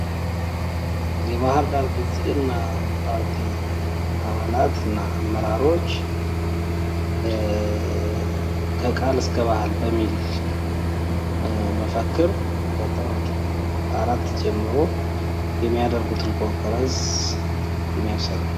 የባህርዳርና ብልጽግና ፓርቲ አባላትና አመራሮች ከቃል እስከ ባህል በሚል መፈክር ከጥር አራት ጀምሮ የሚያደርጉትን ኮንፈረንስ የሚያሳይ ነው።